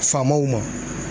Faamaw ma